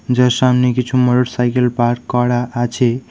যার সামনে কিছু মোটরসাইকেল পার্ক করা আছে।